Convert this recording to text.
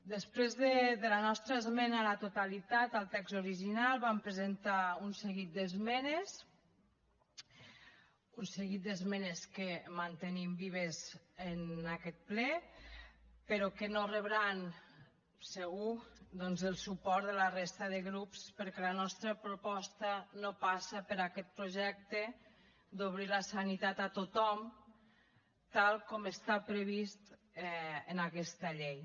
després de la nostra esmena a la totalitat al text original vam presentar un seguit d’esmenes un seguit d’esmenes que mantenim vives en aquest ple però que no rebran segur doncs el suport de la resta de grups perquè la nostra proposta no passa per aquest projecte d’obrir la sanitat a tothom tal com està previst en aquesta llei